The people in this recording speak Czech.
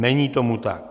Není tomu tak.